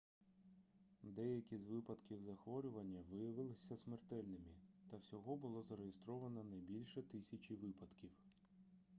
деякі з випадків захворювання виявилися смертельними та всього було зареєстровано не бульше тисячі випадків